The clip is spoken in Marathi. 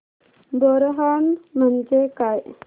बोरनहाण म्हणजे काय